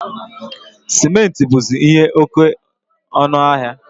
Simenti buzi ihe oke ọnụ ahịa